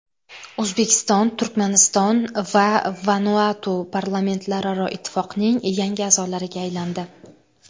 O‘zbekiston, Turkmaniston va Vanuatu Parlamentlararo ittifoqning yangi a’zolariga aylandi.